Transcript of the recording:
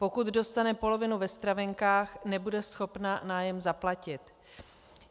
Pokud dostane polovinu ve stravenkách, nebude schopna nájem zaplatit.